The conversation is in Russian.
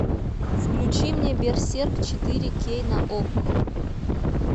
включи мне берсерк четыре кей на окко